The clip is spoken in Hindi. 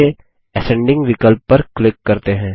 चलिए असेंडिंग विकल्प पर क्लिक करते हैं